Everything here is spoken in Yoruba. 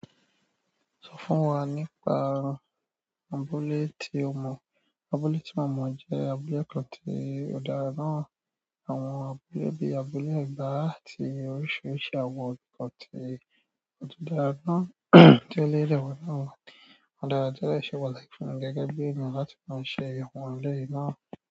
Sọ fún wa nípa abúlé tí o mọ. Abúlé tí ọmọ jẹ́ abúlé kan tí ò dára náà àwọn abúlé bíi abúlé ẹ̀gbá àti oríṣiríṣi àwọn nkan to o tun dára ná ti eleyi de wa nínú àwọn. Òdaraná ti o de se pàtàkì gẹ́gẹ́ bi ènìyàn láti máa ṣe ìyèwo àwọn eleyi náà.